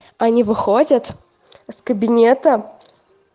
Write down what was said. они выходят с кабинета